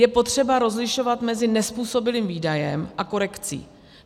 Je potřeba rozlišovat mezi nezpůsobilým výdajem a korekcí.